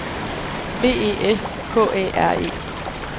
B E S K Æ R E